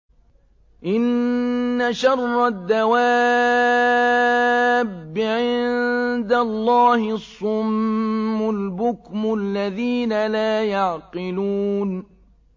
۞ إِنَّ شَرَّ الدَّوَابِّ عِندَ اللَّهِ الصُّمُّ الْبُكْمُ الَّذِينَ لَا يَعْقِلُونَ